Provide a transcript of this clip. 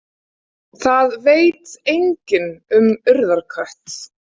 Það veit enginn um Urðarkött.